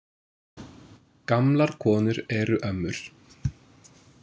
Gamlar konur eru ömmur.